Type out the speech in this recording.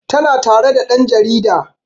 Tana tare da ɗan jarida